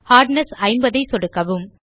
hardness 50 ஐ சொடுக்கவும்